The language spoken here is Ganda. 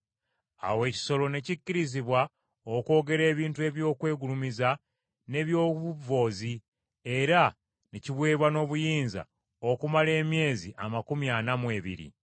Awo ekisolo ne kikkirizibwa okwogera ebintu eby’okwegulumiza n’eby’obuvvoozi era ne kiweebwa n’obuyinza okumala emyezi amakumi ana mu ebiri.